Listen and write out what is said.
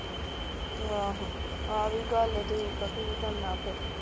ਆਹੋ ਆਹ ਵੀ ਗੱਲ ਠੀਕ ਆ ਕਿ ਕਰਨਾ ਫੇਰ